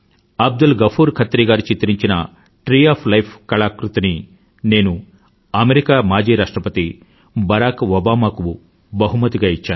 అబ్దుల్ గఫూర్ ఖత్రీ గారు చిత్రించిన tree of life కళాకృతిని నేను అమెరికా మాజీ రాష్ట్రపతి బరాక్ ఓబామా కు బహుమతిగా ఇచ్చాను